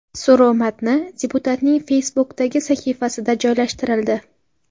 So‘rov matni deputatning Facebook’dagi sahifasida joylashtirildi .